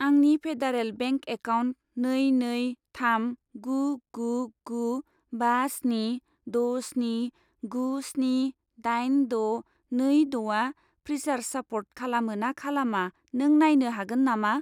आंनि federal bank account नै नै थाम गु गु गु बा स्नि द' स्नि गु स्नि दाइन द' नै द'आ फ्रिसार्ज सापर्ट खालामो ना खालामा नों नायनो हागोन नामा?